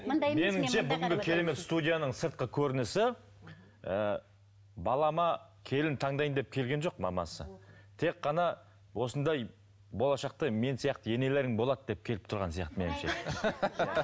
меніңше бүгінгі керемет студияның сыртқы көрінісі ыыы балама келін таңдаймын деп келген жоқ мамасы тек қана осындай болашақта мен сияқты енелерің болады деп келіп тұрған сияқты меніңше